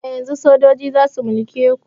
Daga yanzun sojoji zasu mulke ku